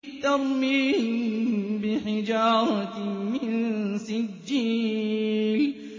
تَرْمِيهِم بِحِجَارَةٍ مِّن سِجِّيلٍ